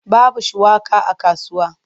Babu shuwaka a kasuwa.